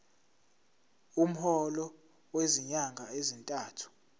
umholo wezinyanga ezintathu